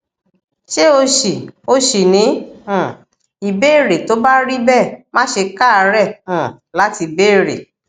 ṣé o ṣì o ṣì ní um ìbéèrè tó bá rí bẹẹ má ṣe káàárẹ um láti béèrè